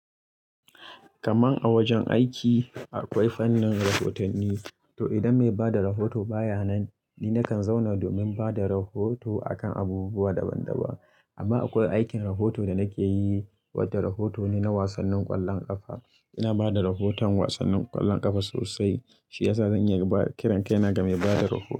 Kaman a wajen aiki akwai fannin rahotanni, to idan mai bada rahoto baya nan ni nakan zauna domin bada rahoto akan abubuwa daban daban. Amma akwai aikin rahoto da nake yi wadda rahoto ne na wasannin ƙwallon ƙafa. Ina bada rahoton wasannin ƙwallon ƙafa sosai shiyasa zan iya inba--kiran kaina ga mai bada rahoto.